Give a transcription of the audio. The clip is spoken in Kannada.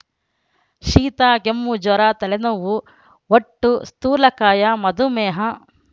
ಶೀತ ಕೆಮ್ಮು ಜ್ವರ ತಲೆನೋವು ಹೊಟ್ಟು ಸ್ಥೂಲಕಾಯ ಮಧುಮೇಹ